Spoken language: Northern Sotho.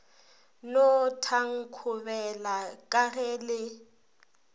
no thankobela ka ge le